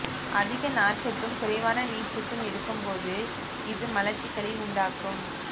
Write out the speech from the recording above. அதிக நார்ச்சத்தும் குறைவான நீர்ச்சத்தும் எடுக்கும் போது இது மலச்சிக்கலை உண்டாக்கும்